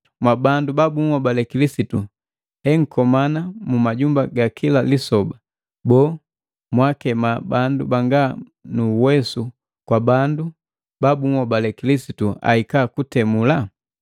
Mwa bandu ba bunhobale Kilisitu enkomana mu majambu gakila lisoba, boo mwakema bandu banga nu uwesu kwa bandu ba bunhobale Kilisitu ahika kutemula?